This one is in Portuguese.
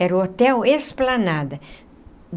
Era o Hotel Esplanada.